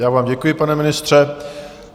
Já vám děkuji, pane ministře.